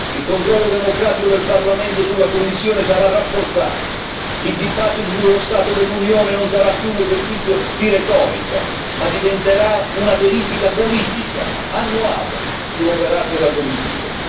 Il controllo democratico del Parlamento sulla Commissione sarà rafforzato, il dibattito sullo stato dell'Unione non sarà più un esercizio di retorica, ma diventerà una verifica politica annuale sull'operato della Commissione.